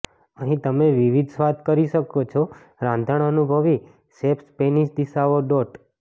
અહીં તમે વિવિધ સ્વાદ કરી શકો છો રાંધણ અનુભવી શેફ સ્પેનિશ દિશાઓ ડોટ્ટ